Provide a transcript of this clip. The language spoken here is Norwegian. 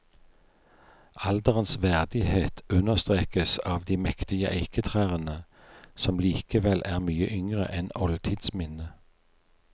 Alderens verdighet understrekes av de mektige eiketrærne, som likevel er mye yngre enn oldtidsminnet.